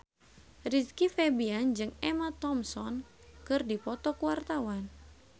Rizky Febian jeung Emma Thompson keur dipoto ku wartawan